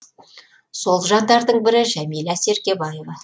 сол жандардың бірі жамиля серкебаева